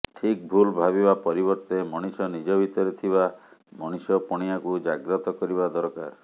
ଠିକ ଭୁଲ ଭାବିବା ପରିବର୍ତ୍ତେ ମଣିଷ ନିଜ ଭିତରେ ଥିବା ମଣିଷପଣିଆକୁ ଜାଗ୍ରତ କରିବା ଦରକାର